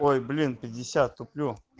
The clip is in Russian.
ой блин пятьдесят туплю